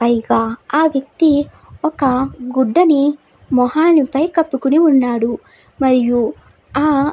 పైగా ఆ వ్యక్తి ఒక గుడ్డను మొహానిపై కప్పుకుని ఉన్నాడు. మరియు ఆ --